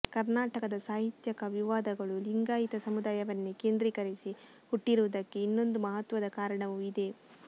ಕರ್ನಾಟಕದ ಸಾಹಿತ್ಯಕ ವಿವಾದಗಳು ಲಿಂಗಾಯಿತ ಸಮುದಾಯವನ್ನೇ ಕೇಂದ್ರೀಕರಿಸಿ ಹುಟ್ಟಿರುವುದಕ್ಕೆ ಇನ್ನೊಂದು ಮಹತ್ವದ ಕಾರಣವೂ ಇದೆ